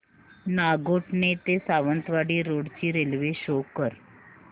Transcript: नागोठणे ते सावंतवाडी रोड ची railway show कर